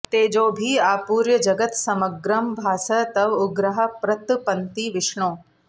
तेजोभिः आपूर्य जगत् समग्रम् भासः तव उग्राः प्रतपन्ति विष्णो